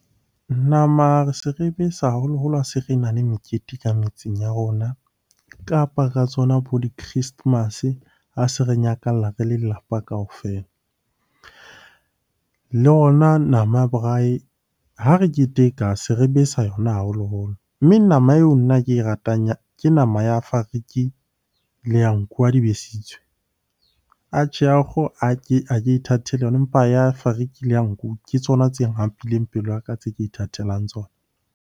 Nama re se re besa haholoholo ha se re na le mekete ka metsing ya rona, kapa ka tsona bo di-christmas-e a se re nyakalla re le lelapa kaofela. Le yona nama ya braai, ha re keteka se re besa yona haholoholo. Mme nama eo nna ke e ratang ke nama ya fariki le ya nku ha di besitswe. Atjhe, ya kgoho a ke ithatela yona empa ya fariki le ya nku ke tsona tse hapileng pelo ya ka tse ke ithatelang tsona.